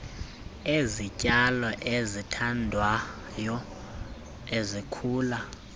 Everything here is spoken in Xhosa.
ezityalo ezithandwayo ezikhula